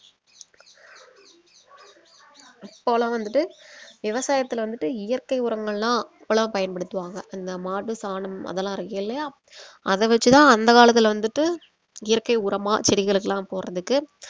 அப்போலாம் வந்துட்டு விவசாயத்துல வந்துட்டு இயற்கை உரங்களாம் அப்பலாம் பயன்படுத்துவாங்க அந்த மாட்டு சாணம் அதெல்லாம் இருக்கில்லையா அத வெச்சு தான் அந்த காலத்துல வந்துட்டு இயற்கை உரமா செடிகளுக்குலாம் போடுறதுக்கு